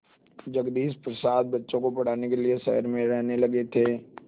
जगदीश प्रसाद बच्चों को पढ़ाने के लिए शहर में रहने लगे थे